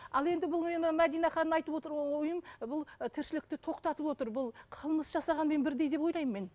ал енді бұл мәдина ханым айтып отыр ойым бұл ы тіршілікті тоқтатып отыр бұл қылмыс жасағанмен бірдей деп ойлаймын мен